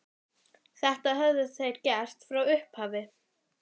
Þetta höfðu þeir gert frá upphafi